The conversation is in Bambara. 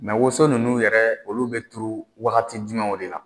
woso ninnu yɛrɛ olu bɛ turu wagati jumɛnw de la